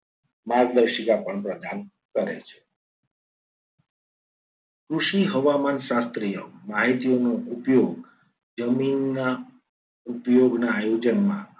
માર્ગદર્શિકા પણ પ્રદાન કરે છે. કૃષિ હવામાન શાસ્ત્રીય માહિતીઓનો ઉપયોગ જમીનના ઉપયોગના આયોજનમાં